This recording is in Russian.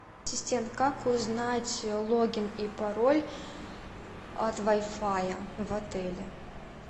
ассистент как узнать логин и пароль от вай фая в отеле